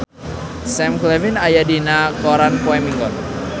Sam Claflin aya dina koran poe Minggon